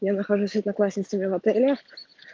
я нахожусь с одноклассницами в отеле